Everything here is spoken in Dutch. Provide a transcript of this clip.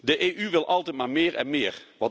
De EU wil altijd maar meer en meer.